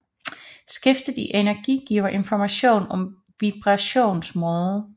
Skiftet i energi giver information om vibrationsmåde